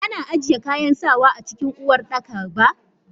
Ana ajiye kayan sawa a cikin uwardakaba.